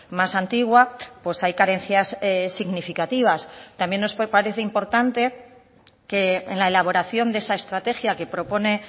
más antigua pues hay carencias significativas también nos parece importante que en la elaboración de esa estrategia que propone